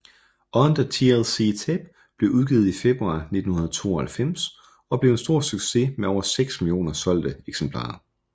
On the TLC Tip blev udgivet i februar 1992 og blev en stor succes med over 6 millioner solgte eksemplarer